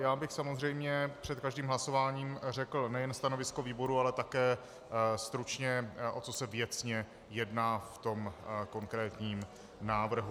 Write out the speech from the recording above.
Já bych samozřejmě před každým hlasováním řekl nejen stanovisko výboru, ale také stručně, o co se věcně jedná v tom konkrétním návrhu.